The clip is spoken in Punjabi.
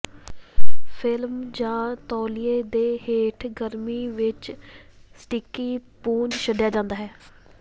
ਫਿਲਮ ਜਾਂ ਤੌਲੀਏ ਦੇ ਹੇਠ ਗਰਮੀ ਵਿੱਚ ਸਟਿੱਕੀ ਪੁੰਜ ਛੱਡਿਆ ਜਾਂਦਾ ਹੈ